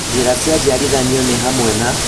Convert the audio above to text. Njĩra cia njiarithanio nĩ hamwe na